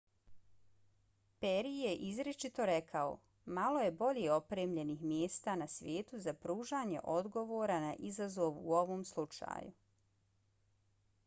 peri je izričito rekao: malo je bolje opremljenih mjesta na svijetu za pružanje odgovora na izazov u ovom slučaju.